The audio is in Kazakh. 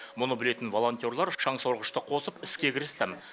мұны білетін волонтерлар шаңсорғышты қосып іске кірісті